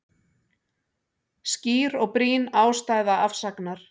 Skýr og brýn ástæða afsagnar